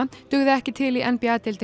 dugði ekki til í n b a deildinni í